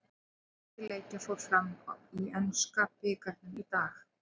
Fjöldi leikja fór fram í enska bikarnum í dag.